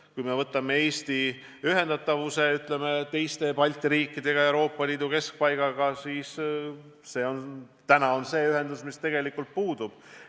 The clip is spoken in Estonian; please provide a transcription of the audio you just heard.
Kui vaatame Eesti ühendust teiste Balti riikidega ja Euroopa Liidu keskpaigaga, siis täna see ühendustee tegelikult puudub.